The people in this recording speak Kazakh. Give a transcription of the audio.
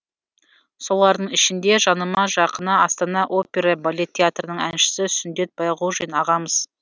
солардың ішінде жаныма жақыны астана опера балет театрының әншісі сүндет байғожин ағамыз